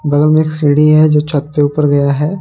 बगल मे एक सीढ़ी है जो छत के ऊपर गया है।